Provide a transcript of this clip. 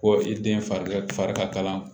Ko i den fari ka fari ka kalan